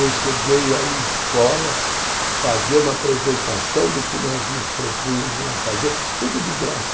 Eu cheguei a ir em escolas, fazer uma apresentação do que nós nos propúnhamos a fazer, tudo de graça.